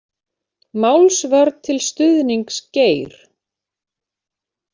Málsvörn til stuðnings Geir